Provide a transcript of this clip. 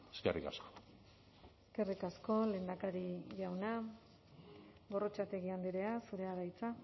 eskerrik asko eskerrik asko lehendakari jauna gorrotxategi andrea zurea da hitza